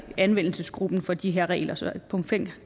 anvendelsesgruppen for de her regler så